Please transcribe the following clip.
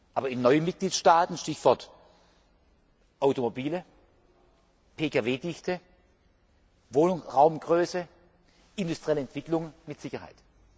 Aber in neuen Mitgliedstaaten Stichwort Automobile, Pkw Dichte, Wohnraumgröße, industrielle Entwicklung mit Sicherheit.